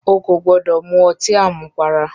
O kò gbọ́dọ̀ mu ọtí àmupara!